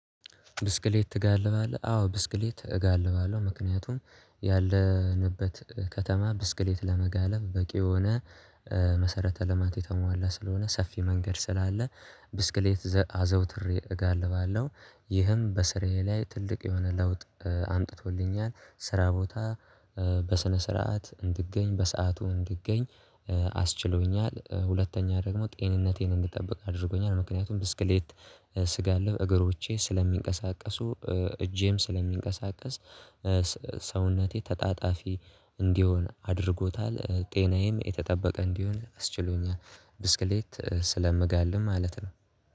ብስክሌት ትጋልባለህ? አዎ ብስክሌት እጋልባለሁ ምክንያቱም ያለንበት ከተማ ብስክሌት ለመጋለብ በቂ የሆነ መሰረተ ልማት የተሟላ ስለሆነ ሰፊ መንገድ ስላለ ብስክሌት አዘውትሬ እጋልባለሁ። ይህም በስራዬ ላይ ትልቅ የሆነ ለውጥ አምጥቶልኛል ስራ ቦታ በስነ ስርዓት እንድገኝ በሰአቱ እንድገኝ አስችሎኛል። ሁለተኛ ደግሞ ጤንነቴን እንድትጠብቅ አድርጎኛል ምክንያቱም ትስክሌት ስጋልብ እግሮቼ ስለሚንቀሳቀሱ እጄም ስለሚንቀሳቀስ ሰውነቴ ተጣጣፊ እንዲሆን አድርጎታል ጤናዬም የተጠበቀ እንዲሆን አስችሎኛል። ብስክሌት ስለምጋልብ ማለት ነው